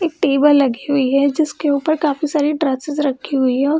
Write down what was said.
एक टेबल लगी हुई है जिसके ऊपर काफी सारी रखी हुई है।